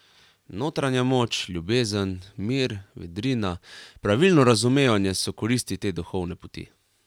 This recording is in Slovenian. Notranja moč, ljubezen, mir, vedrina, pravilno razumevanje so koristi te duhovne poti.